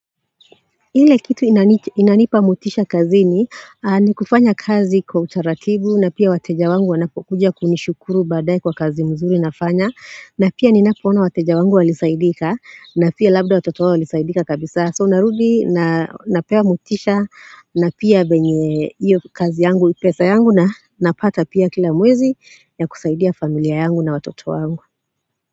Ile kitu inanipa motisha kazini ni kufanya kazi kwa utaratibu na pia wateja wangu wanapokuja kunishukuru baadae kwa kazi mzuri nafanya na pia ninapoona wateja wangu walisaidika na pia labda watoto wao walisaidika kabisa So narudi napea motisha na pia penye hiyo kazi yangu pesa yangu na napata pia kila mwezi ya kusaidia familia yangu na watoto wangu.